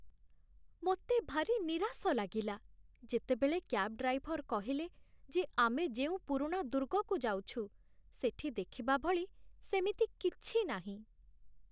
ମୋତେ ଭାରି ନିରାଶ ଲାଗିଲା, ଯେତେବେଳେ କ୍ୟାବ୍ ଡ୍ରାଇଭର କହିଲେ ଯେ ଆମେ ଯେଉଁ ପୁରୁଣା ଦୁର୍ଗକୁ ଯାଉଛୁ, ସେଠି ଦେଖିବା ଭଳି ସେମିତି କିଛି ନାହିଁ।